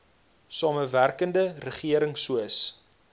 samewerkende regering soos